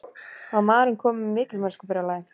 Var maðurinn kominn með mikilmennskubrjálæði?